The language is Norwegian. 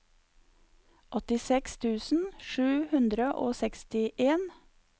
åttiseks tusen sju hundre og sekstien